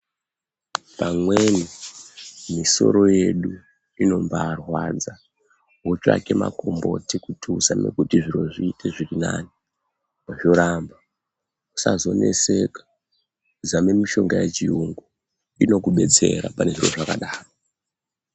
Amweni misoro yedu inombaarwadza wotsvake makomboti kuti uzame kuti zviro zviite zviri nane zvoramba usazoneseka zame mishonga yechirungu inokudetsera pane zvinhu zvakadaro.